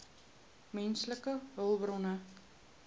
menslike hulpbronne